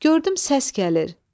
Gördüm səs gəlir.